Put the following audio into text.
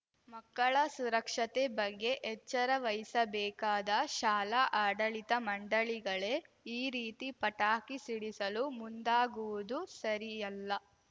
ಮಕ್ಕಳ ಸುರಕ್ಷತೆ ಬಗ್ಗೆ ಎಚ್ಚರವಹಿಸಬೇಕಾದ ಶಾಲಾ ಆಡಳಿತ ಮಂಡಳಿಗಳೇ ಈ ರೀತಿ ಪಟಾಕಿ ಸಿಡಿಸಲು ಮುಂದಾಗುವುದು ಸರಿಯಲ್ಲ